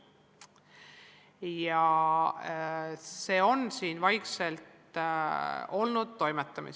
Ja selle kallal ongi siin vaikselt toimetatud.